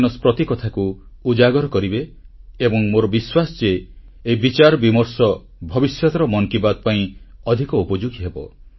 ପ୍ରତି କଥାକୁ ଉଜାଗର କରିବେ ଏବଂ ମୋର ବିଶ୍ୱାସ ଯେ ଏହି ବିଚାରବିମର୍ଶ ଭବିଷ୍ୟତର ମନ୍ କି ବାତ୍ ପାଇଁ ଅଧିକ ଉପଯୋଗୀ ହେବ